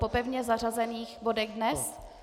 Po pevně zařazených bodech dnes?